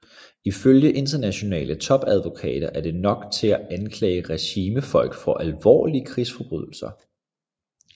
Ifølge internationale topadvokater er det nok til at anklage regimefolk for alvorlige krigsforbrydelser